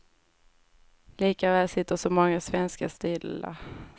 Likväl sitter så många svenskar stilla.